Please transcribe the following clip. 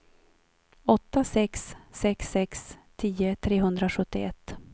åtta sex sex sex tio trehundrasjuttioett